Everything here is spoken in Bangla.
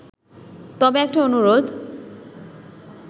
তবে একটা অনুরোধ